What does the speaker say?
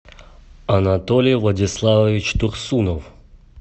анатолий владиславович турсунов